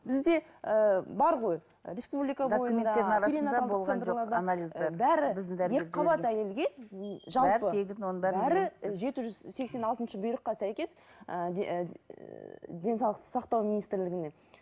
бізде ыыы бар ғой жеті жүз сексен алтыншы бұйрыққа сәйкес ііі денсаулық сақтау министрлігінен